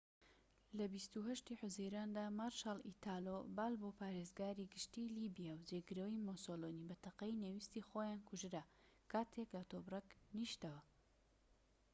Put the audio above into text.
لە ٢٨ حوزەیراندا، مارشال ئیتالۆ بالبۆ پارێزگاری گشتیی لیبیا و جێگرەوەی مۆسۆلینی بە تەقەی نەویستی خۆیان کوژرا کاتێك لە تۆبرەک نیشتەوە